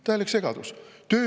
Täielik segadus!